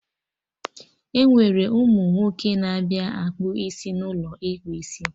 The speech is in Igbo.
Enwere ụmụ nwoke na-abịa akpa isi n'ụlọ ịkpụ isi